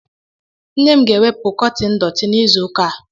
Nne m ga-ewepụ kọtini dọti n'izuụka a.